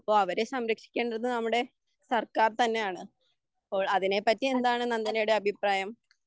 അപ്പോൾ അവരെ സംരക്ഷിക്കേണ്ടത് നമ്മുടെ സർക്കാർ തന്നെയാണ് അപ്പോൾ അതിനെ പറ്റി എന്താണ് നന്ദനയുടെ അഭിപ്രായം